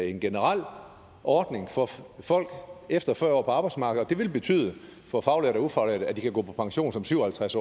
en generel ordning for folk efter fyrre år på arbejdsmarkedet det vil betyde for faglærte og ufaglærte at de kan gå pension som syv og halvtreds